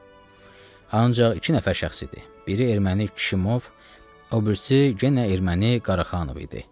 Ancaq iki nəfər şəxs idi, biri erməni Kişimov, o birisi yenə erməni Qaraxanov idi.